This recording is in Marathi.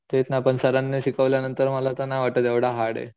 तेच ना पण सरांनी शिकवल्या नंतर मला तर नाही वाटत एवढं हार्डये.